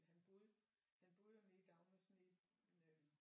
Han boede han boede jo nede i Dagnæs nede